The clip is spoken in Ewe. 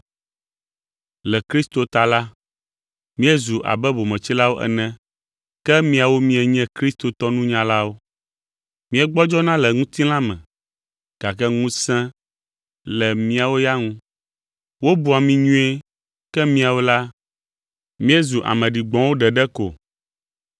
Le Kristo ta la, míezu abe bometsilawo ene, ke miawo mienye kristotɔ nunyalawo. Míegbɔdzɔna le ŋutilã me gake ŋusẽ le miawo ya ŋu. Wobua mi nyuie, ke míawo la, míezu ame ɖigbɔ̃wo ɖeɖe ko!